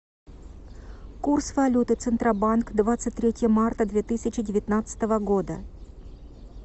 курс валюты центробанк двадцать третье марта две тысячи девятнадцатого года